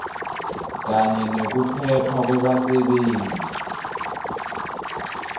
kanye nekuphepha kwebasebenti